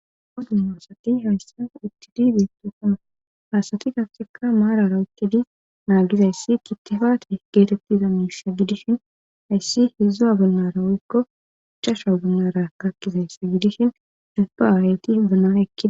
hoddunoossati hayssa itid deettosana haasati gafseka maarara wukkedi naagizayssi kittifaate geetettiza miissa gidishin hayssi hedzua bunnara woyykko chasha bonnaraka kkizayssa gidishin ilpa aareyti hibuna ekid